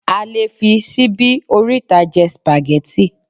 a lè fi síbi oríta je spaghetti